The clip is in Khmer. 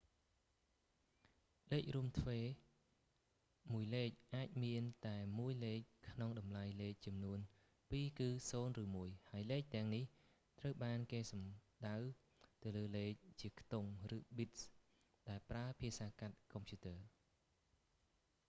លេខរួមទ្វេរ binary មួយលេខអាចមានតែមួយលេខក្នុងតម្លៃលេខចំនួនពីរគឺ 0 ឬ 1 ហើយលេខទាំងនេះត្រូវបានគេសំដៅទៅលើលេខជាខ្ទង់ ឬ bits ដែលប្រើភាសាកាត់កុំព្យូទ័រ